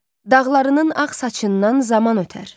Dağlarının ağ saçından zaman ötər.